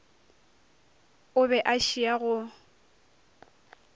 o be a šia go